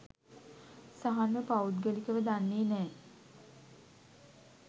සහන්ව පෞද්ගලිකව දන්නෙ නෑ.